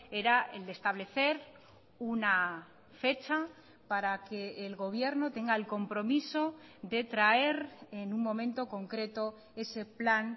era el de establecer una fecha para que el gobierno tenga el compromiso de traer en un momento concreto ese plan